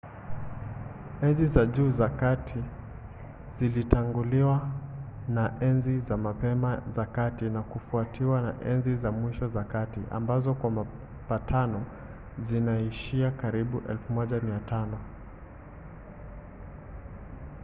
enzi za juu za kati zilitanguliwa na enzi za mapema za kati na kufuatiwa na enzi za mwisho za kati ambazo kwa mapatano zinaishia karibu 1500